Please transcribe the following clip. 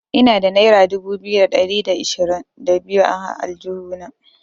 Ina da naira dubu biyu da ɗari da ashirin da biyu a aljihuna.